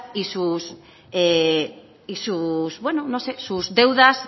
y sus deudas